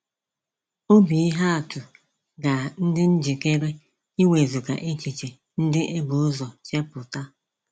Obi ihe atụ ga ndị njikere iwezuga echiche ndị ebuzọ chepụta.